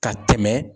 Ka tɛmɛ